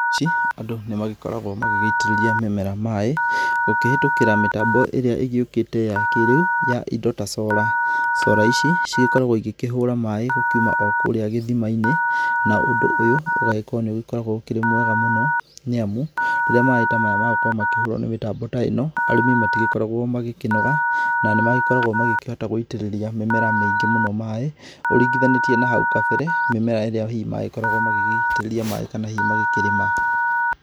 Andũ nĩmagĩkoragwo magĩgĩitĩrĩria mĩmera maĩ, gũkĩhĩtũkĩra mĩtambo ĩrĩa ĩgĩũkĩte ya kĩ rĩu ya indo ta solar. solar ici cigĩkoragwo cikĩhũra maĩ o kuma kurĩa gĩthima-inĩ. Na ũndũ ũyũ ũgagĩkorwo nĩũgĩkoragwo wĩ mwega mũno nĩ amu, rĩrĩa maĩ ta maya magũkorwo makĩhũrwo nĩ mĩtambo ta ĩno, arĩmi matigĩkoragwo magĩkĩnoga, na nĩ magĩkoragwo makĩhota gũitĩrĩria mĩmera mĩingĩ mũno maĩ, ũringithanĩtie na hau kabere mĩmera ĩrĩa hihi magĩkoragwo magĩgĩitĩrĩria maĩ kana hihi magĩkĩrĩma.